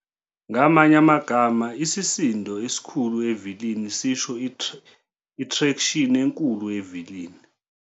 Ngamanye amagama, isisindo esikhulu evilini sisho itraction enkulu evilini.